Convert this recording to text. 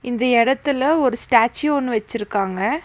இந்த எடத்துல ஒரு ஸ்டேச்சு ஒன்னு வெச்சிருக்காங்க.